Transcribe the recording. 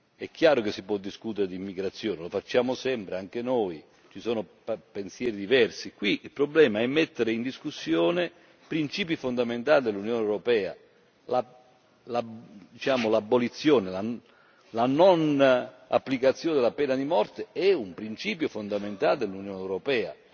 È chiaro che si può discutere d'immigrazione lo facciamo sempre, anche noi, ci sono pensieri diversi. Qui il problema è mettere in discussione principi fondamentali dell'Unione europea l'abolizione, la non applicazione della pena di morte è un principio fondamentale dell'Unione europea.